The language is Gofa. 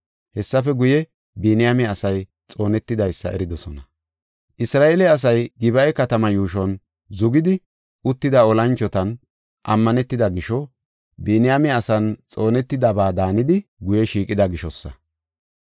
Hessafe guye, Biniyaame asay xoonetidaysa eridosona. Isra7eele asay Gib7a katamaa yuushuwan zugidi uttida olanchotan ammanetida gisho, Biniyaame asan xoonetidaba daanidi guye shiiqida gishosa.